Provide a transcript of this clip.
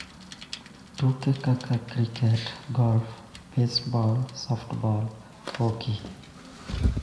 Tuke kaka kriket, golf, beisbol, softbol, ??hoki,